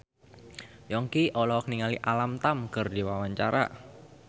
Yongki olohok ningali Alam Tam keur diwawancara